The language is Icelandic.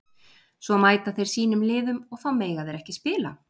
Svo mæta þeir sínum liðum og þá mega þeir ekki spila?